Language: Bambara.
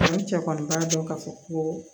Ni cɛ kɔni b'a dɔn ka fɔ ko